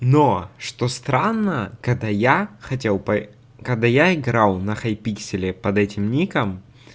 но что странно когда я хотел по когда я играл на хайпикселе под этим ником